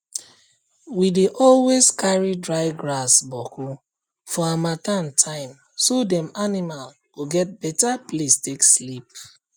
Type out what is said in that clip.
we dey always carry dry grass boku for harmattan timeso dem animal go get beta place take sleep